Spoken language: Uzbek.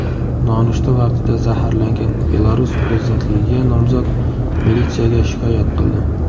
Nonushta vaqtida zaharlangan Belarus prezidentligiga nomzod militsiyaga shikoyat qildi.